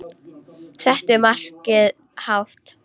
Settu markið hátt.